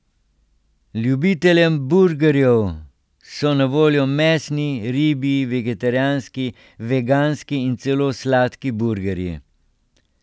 Ljubiteljem burgerjev so na voljo mesni, ribji, vegetarijanski, veganski in celo sladki burgerji.